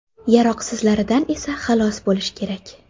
Yaroqsizlaridan esa xalos bo‘lish kerak.